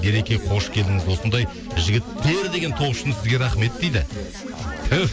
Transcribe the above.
ереке қош келдіңіз осындай жігіттер деген топ үшін сізге рахмет дейді түф